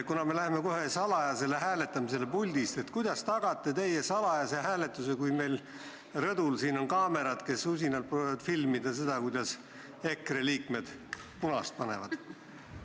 Me läheme kohe salajasele hääletamisele puldist, aga kuidas te tagate salajase hääletuse, kui meil siin rõdul on kaamerad, kes usinalt proovivad filmida seda, kuidas EKRE liikmed punast nuppu vajutavad?